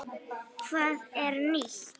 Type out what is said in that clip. Hvað er nýtt?